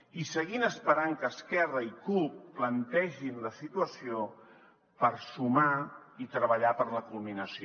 i seguim esperant que esquerra i cup plantegin la situació per sumar i treballar per la culminació